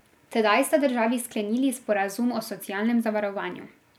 Tedaj sta državi sklenili sporazum o socialnem zavarovanju.